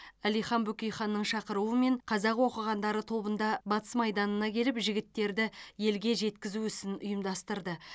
әлихан бөкейханның шақыруымен қазақ оқығандары тобында батыс майданына келіп жігіттерді елге жеткізу ісін ұйымдастырды